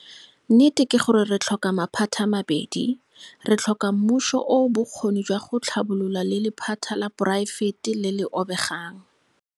Nnete ke gore re tlhoka maphata a mabedi. Re tlhoka mmuso o o bokgoni jwa go tlhabolola le lephata la poraefete le le obegang.